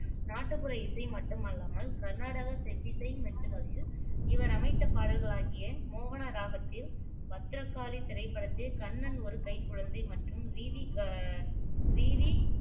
நாட்டுப்புற இசை மட்டுமல்லாமல் கருநாடக செவ்விசை மெட்டுக்களில் இவர் அமைத்த பாடல்களாகிய மோகன ராகத்தில் பத்ரகாளி திரைப்படத்தில் கண்ணன் ஒரு கைக்குழந்தை மற்றும் ரீதி க ரீதி